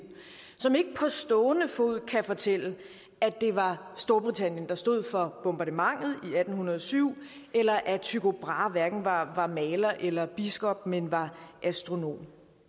som ikke på stående fod kan fortælle at det var storbritannien der stod for bombardementet i atten hundrede og syv eller at tycho brahe hverken var var maler eller biskop men var astronom